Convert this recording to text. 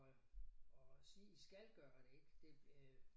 At øh at sige I skal gøre det ik det øh